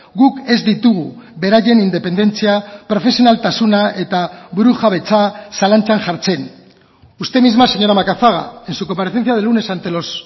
guk ez ditugu beraien independentzia profesionaltasuna eta burujabetza zalantzan jartzen usted misma señora macazaga en su comparecencia del lunes ante los